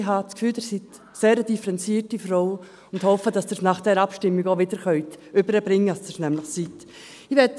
Ich habe das Gefühl, Sie seien eine sehr differenzierte Frau, und hoffe, dass Sie es nach dieser Abstimmung auch wieder herüberbringen können, dass Sie es nämlich sind.